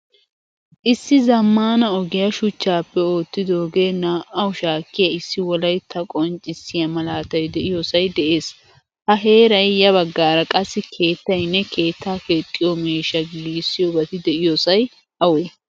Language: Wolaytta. Issi zammaana ogiyaa shuchchappe oottidoge naa'awu shakkiyaa issi wolaytta qonccisiya malaatay de'iyosay de'ees. Ha heeran ya baggaara qassi keettaynne keetta keexiyo miishsha giigisoybati deiyosay awe?